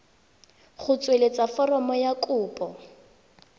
go tsweletsa foromo ya kopo